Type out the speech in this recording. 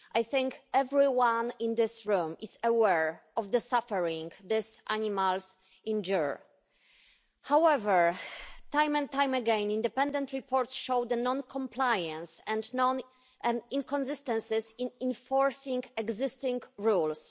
I think everyone in this room is aware of the suffering these animals endure. However, time and time again, independent reports showed the non compliance and inconsistencies in enforcing existing rules.